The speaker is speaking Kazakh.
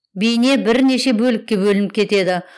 бейне бірнеше бөлікке бөлініп кетеді